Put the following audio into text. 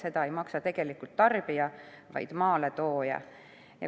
Seda ei maksa tegelikult tarbija, vaid maaletooja.